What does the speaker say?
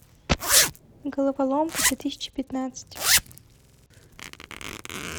головоломка две тысячи пятнадцать